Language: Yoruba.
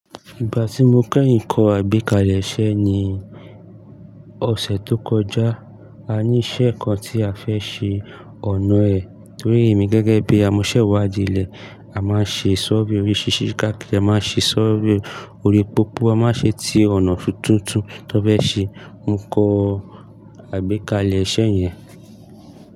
Ìgbà tí mo kẹ́yìn kọ àgbékalẹ̀ iṣẹ̀ ni ọ̀sẹ̀ tó kọjá. A ní ìṣe kan tí a fẹ́ ṣe ọ̀nà ẹ̀ torí èmi gẹ́gẹ́ bí amọ̀sẹ̀wàdí ilé. A máa ṣe survey orí ṣíṣí, káàkiri a máa ṣe survey orí pópó, a máa ṣe ti ọ̀nà fun tuntun. Tí won fe ṣe, mo kọ àgbékalẹ̀ iṣẹ̀ yẹn.